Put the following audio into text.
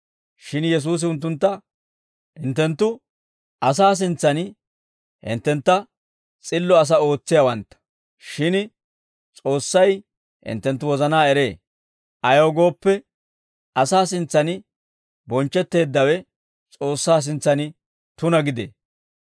Shin Yesuusi unttuntta, «Hinttenttu asaa sintsan hinttentta s'illo asaa ootsiyaawantta; shin S'oossay hinttenttu wozanaa eree; ayaw gooppe, asaa sintsan bonchchetteeddawe S'oossaa sintsan tuna gidee.